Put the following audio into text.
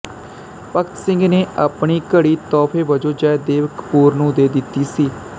ਭਗਤ ਸਿੰਘ ਨੇ ਆਪਣੀ ਘੜੀ ਤੋਹਫੇ ਵਜੋਂ ਜੈਦੇਵ ਕਪੂਰ ਨੂੰ ਦਿੱਤੀ ਸੀ